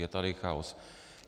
Je tady chaos.